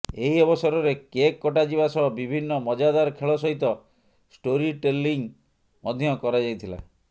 ଏହି ଅବସରରେ କେକ୍ କଟାଯିବା ସହ ବିଭିନ୍ନ ମଜାଦାର ଖେଳ ସହିତ ଷ୍ଟୋରି ଟେଲିଙ୍ଗ ମଧ୍ୟ କରାଯାଇଥିଲା